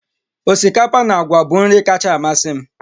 Osikapa na àgwà bụ nri kacha amasị m